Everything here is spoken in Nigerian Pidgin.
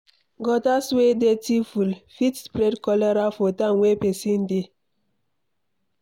Gutters wey dirty full, fit spread cholera for town wey pesin dey